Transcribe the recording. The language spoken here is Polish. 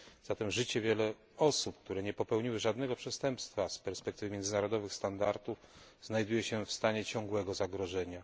Zatem życie wielu osób, które nie popełniły żadnego przestępstwa z perspektywy międzynarodowych standardów, znajduje się w stanie ciągłego zagrożenia.